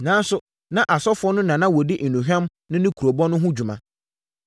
Nanso, na asɔfoɔ no na wɔdi nnuhwam no ne kurobo no ho dwuma.